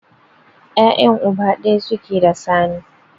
Ya'yan uba ɗaya suke da Sani.